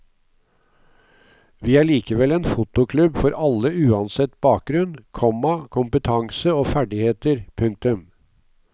Vi er likevel en fotoklubb for alle uansett bakgrunn, komma kompetanse og ferdigheter. punktum